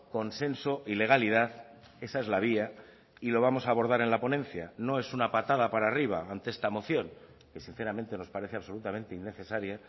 consenso y legalidad esa es la vía y lo vamos a abordar en la ponencia no es una patada para arriba ante esta moción que sinceramente nos parece absolutamente innecesaria